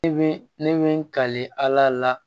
Ne bi ne kale ala la